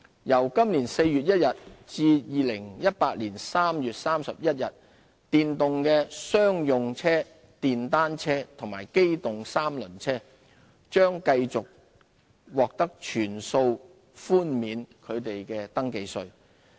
由今年4月1日至2018年3月31日，電動的商用車、電單車和機動三輪車將繼續獲全數寬免其首次登記稅。